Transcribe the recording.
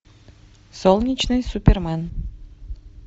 солнечный супермен